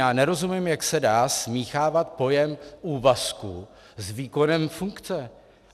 Já nerozumím, jak se dá smíchávat pojem úvazku s výkonem funkce!